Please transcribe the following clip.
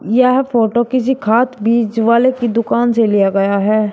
यह फोटो किसी खाद बीज वाले की दुकान से लिया गया है।